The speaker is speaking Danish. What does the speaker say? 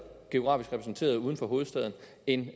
geografisk repræsenteret uden for hovedstaden end